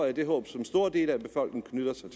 er det håb som store dele af befolkningen knytter sig